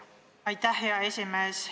Aitäh, hea esimees!